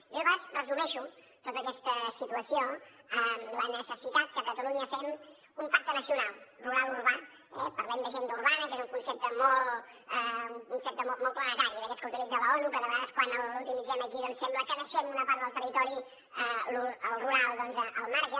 jo de vegades resumeixo tota aquesta situació amb la necessitat que a catalunya fem un pacte nacional rural urbà eh parlem d’ agenda urbana que és un concepte molt planetari i d’aquests que utilitza l’onu que de vegades quan l’utilitzem aquí doncs sembla que deixem una part del territori rural al marge